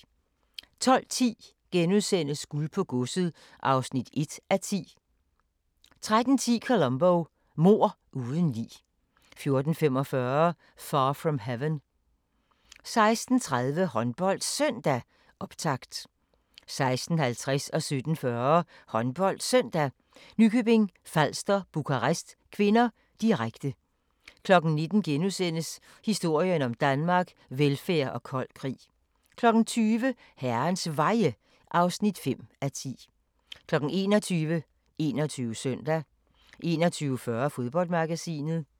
12:10: Guld på godset (1:10)* 13:10: Columbo: Mord uden lig 14:45: Far from Heaven 16:30: HåndboldSøndag: Optakt 16:50: HåndboldSøndag: Nykøbing Falster-Bukarest (k), direkte 17:40: HåndboldSøndag: Nykøbing Falster-Bukarest (k), direkte 19:00: Historien om Danmark: Velfærd og kold krig * 20:00: Herrens Veje (5:10) 21:00: 21 Søndag 21:40: Fodboldmagasinet